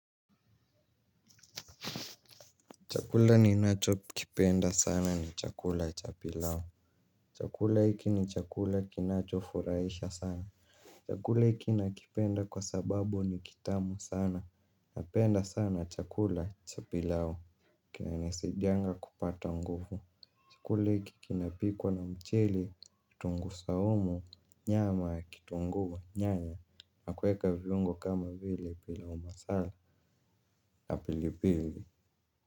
Chakula ni nacho kipenda sana ni chakula cha pilao. Chakula hiki ni chakula kinacho furahisha sana. Chakula hiki nakipenda kwa sababu ni kitamu sana na penda sana chakula cha pilao. Kina nesidianga kupata nguvu. Chakula hiki kinapikwa na mchili, tungu saumu, nyama, kitunguwa, nyanya, na kuweka viungo kama vile pila umasala na pilipili.